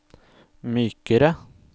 mykere